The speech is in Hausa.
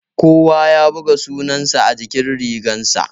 Kowa ya buga sunan sa a jikin rigar sa